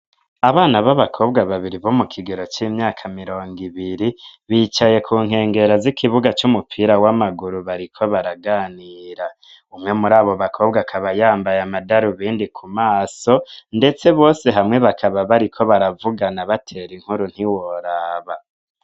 Abana b'abakobwa babiri bo mu kigero c'imyaka mirongo ibiri bicaye ku nkengera z'ikibuga c'umupira w'amaguru bariko baraganira, umwe muri abo bakobwa akaba yambaye amadaru bindi ku maso ndetse bose hamwe bakaba bariko baravugana batera inkuru ntiworaba.